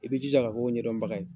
I bi jija ka ko ɲɛdɔn baga ye.